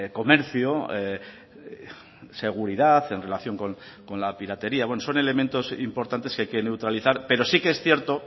comercio seguridad en relación con la piratería bueno son elementos importantes que hay que neutralizar pero sí que es cierto